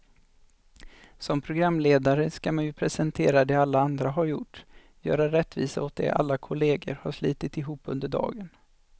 Som programledare ska man ju presentera det alla andra har gjort, göra rättvisa åt det alla kollegor har slitit ihop under dagen.